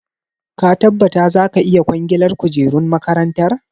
Ka tabbata za ka iya kwangilar kujerun makarantar?